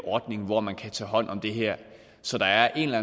ordning hvor man kan tage hånd om det her så der er en eller